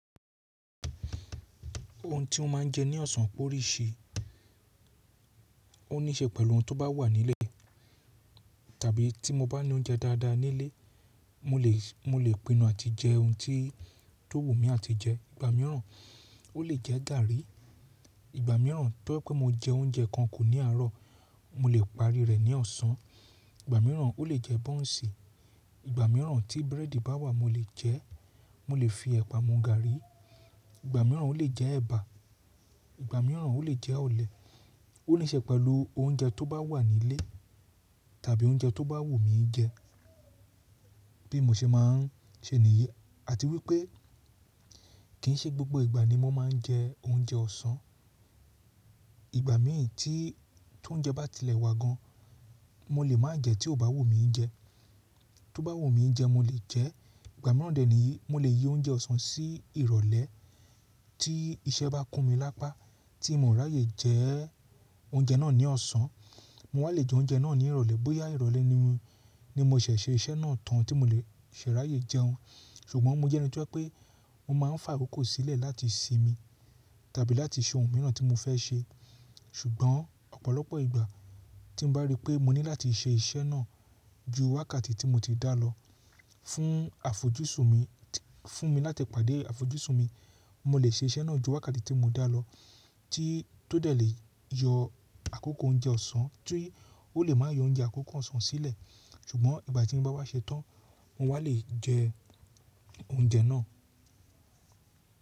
Ohun tí n máa ń jẹ ní ọ̀sán pọ̀ríṣẹ. Ó nííṣe pẹ̀lú ohun tó bá wà nílé tàbí tí mo bá ní oúnjẹ dáadáa nílé, mo lè, mo lè pinu àti jẹ ohun tí tó wù mí àti jẹ. Ìgbà mìíràn ó lè jẹ́ gàrí. Ìgbà mìíràn tó ẹ pé mo jẹ oúnjẹ kan kù ní àárọ̀, mo lè parí rẹ̀ ní ọ̀sán. Ìgbà mìíràn ó lè jẹ́ bọ́ùnsì. Ìgbà mìíràn tí búrẹ́dì bá wà mo lè jẹẹ́, mo lè fi ẹ̀pà mu gàrí. Ìgbà mìíràn ó lè jẹ́ ẹbà. Ìgbà mìíràn ó lè jẹ́ olè. Ó nííṣẹ pẹ̀lú oúnjẹ tó bá wà nílé tàbí oúnjẹ tó bá wù mí jẹ. Bí mo ṣe máa ń ṣe nìyí àti wípé kì ń ṣe gbogbo ìgbà ni mo máa ń jẹ oúnjẹ ọ̀sán. Ìgbà mii tí tóúnjẹ bá tilẹ̀ wà gan, mo lè má jẹ tí ó bá wù mí jẹ. Tó bá wù mí jẹ mo lè jẹ́ẹ́ Ìgbà mìíràn dè níyí, mo lè yí oúnjẹ ọ̀sán sí ìrọ̀lẹ́ tí iṣẹ́ bá kún mi lápá tí mo ráyè jẹ oúnjẹ náà ní ọ̀sán, mo wá lè jẹ oúnjẹ náà ní ìrọ̀lẹ́ bóyá ìrọ̀lẹ́ ni mo ṣẹ̀ ṣe iṣẹ́ náà tán tí mo lè ṣe ráyè jẹun. Ṣùgbọ́n mo jẹ́ ẹni tó ẹ pé mo máa ń fà ìkòkò sílẹ̀ láti sinmi tàbí láti ṣe ohun mìíràn tí mo fẹ́ ṣe. Ṣùgbọ́n ọ̀pọ̀lọpọ̀ ìgbà tí mo bá rí pé mo ní láti ṣe iṣẹ́ náà ju wákàtí tí mo ti dá lọ fún àfojúsùn mi, fún mi láti pàdé àfojúsùn mi, mo lè ṣe iṣẹ́ náà ju wákàtí tí mo dá lọ tí tó dẹ̀ lè yọ àkókò oúnjẹ ọ̀sán tí ó lè máa yọ oúnjẹ àkókò ọ̀sán sílẹ̀. Ṣùgbọ́n ìgbà tí n bá wá ṣetán mo wá lè jẹ oúnjẹ náà.